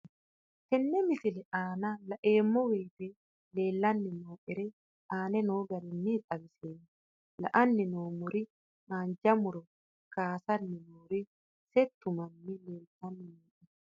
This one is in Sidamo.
Tenne misile aana laeemmo woyte leelanni noo'ere aane noo garinni xawiseemmo. La'anni noomorri haanja muro kaasanni noorri settu manni leeltinni nooe.